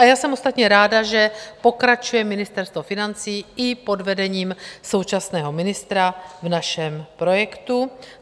A já jsem ostatně ráda, že pokračuje Ministerstvo financí i pod vedením současného ministra v našem projektu.